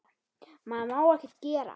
Maður má ekkert gera.